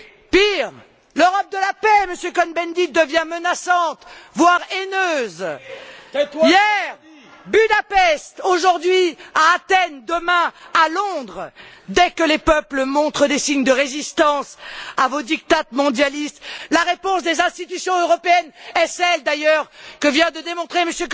Pire, l'Europe de la paix, Monsieur Cohn Bendit, devient menaçante, voire haineuse. Hier, Budapest, aujourd'hui, à Athènes, demain, à Londres, dès que les peuples montrent des signes de résistance à vos diktats mondialistes, la réponse des institutions européennes est celle, d'ailleurs, que vient de démontrer